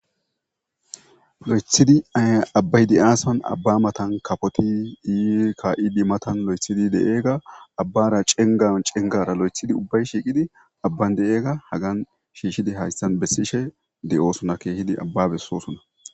Lo7ethidi abbay di7aason abba matan kapoti ii ka7idi matan lo7ethidi de7eegga abbara cengaon cengara lo7ethidi ubbay shiiqidi abban de7eega hagan shiishidi hayssan bessishe de7oosuna kehidi abbabessosuna.